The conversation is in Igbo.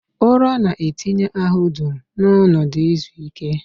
Ụra na-etinye ahụ dum n'ọnọdụ izu ike